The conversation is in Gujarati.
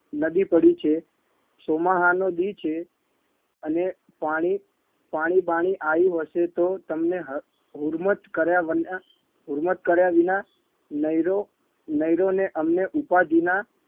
નદી પડી છે ચોમાહાનો દિ છે અને પાણી પાણી બાણી આયું હશે તો તમને હર હુરમત કર્યા વના હુરમત કર્યા વિના નઈરો નઈરો ને અમને ઉપાધિના